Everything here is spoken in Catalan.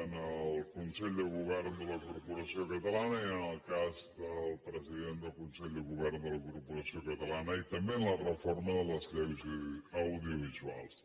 en el consell de govern de la corporació catalana i en el cas del president del consell de govern de la corporació catalana i també en la reforma de les lleis audiovisuals